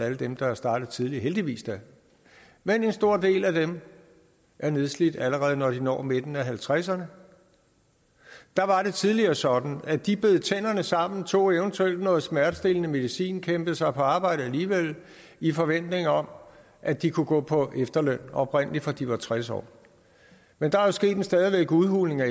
alle dem der er startet tidligt heldigvis da men en stor del af dem er nedslidt allerede når de når midten af halvtredserne der var det tidligere sådan at de bed tænderne sammen tog eventuelt noget smertestillende medicin og kæmpede sig på arbejde alligevel i forventning om at de kunne gå på efterløn oprindelig fra de var tres år men der er jo sket en stadig udhuling af